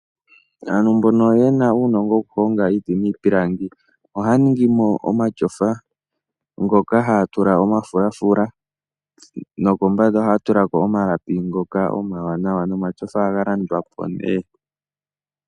Aantu mbono yena uunongo wokuhonga iiti niipilangi ohaya ningi mo omashofa, ngoka haya tula omafulafula no kombanda ohaya tula ko omalapi ngoka omawanawa, nomashofa ohaga landwa po nee.